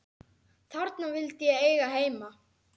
Þarna vildi ég eiga heima.